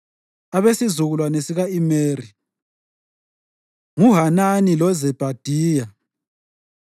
Abesizukulwane sika-Imeri: nguHanani loZebhadiya.